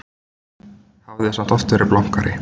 Hafði samt oft verið blankari.